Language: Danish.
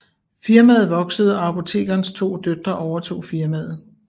Firmaet voksede og apotekerens to døtre overtog firmaet